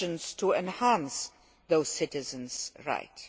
to enhance those citizens' rights.